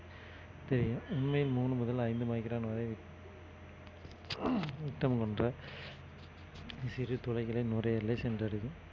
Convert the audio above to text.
தெரியும் உண்மையில் மூணு முதல் ஐந்து micron வரை சிறு துளைகளில் நுரையீரலை சென்றடையும்